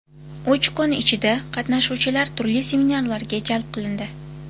Uch kun ichida, qatnashuvchilar turli seminarlarga jalb qilindi.